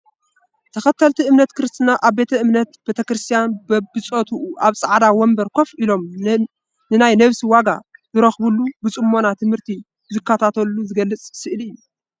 ተኸተልቲ እምነት ክርስትና ኣብ ቤተ እምነት ቤተክርስትያን በቢፆትኡ ኣብ ፃዕዳ ወንበር ኮፍ ኢሎም ናይ ነብሲ ዋጋ ዝረኽብሉ ብፅሞና ትምህርቲ እንትከታተሉ ዝገልፅ ስእሊ እዩ።